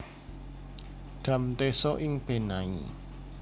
Dam Teso ing Benai